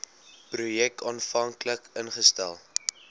projek aanvanklik ingestel